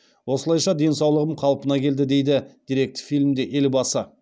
осылайша денсаулығым қалпына келді дейді деректі фильмде елбасы